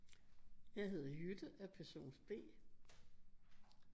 Jeg hedder Jytte er person B